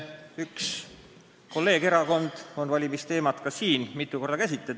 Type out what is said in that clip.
Üks meie kolleegerakond on valimisteema mitu korda tõstatanud ja me oleme seda ka käsitlenud.